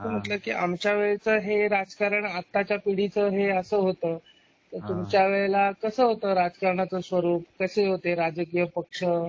मग म्हणल आमच्या वेळच हे राजकारण आताच्या पिढीच हे असं होतं. तुमच्या वेळेला कसं होत राजकारणाचं स्वरूप? कसे होते राजकीय पक्ष?